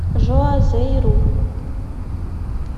жуазейру